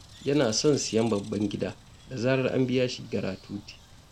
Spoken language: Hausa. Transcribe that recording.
Yana son siyan babban gida, da zarar an biya shi giratuti.